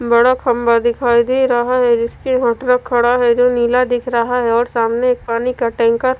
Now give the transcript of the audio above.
बड़ा खंभा दिखाई दे रहा हैं जिसके वो ट्रक खड़ा है जो नीला दिख रहा है और सामने एक पानी का टैंकर --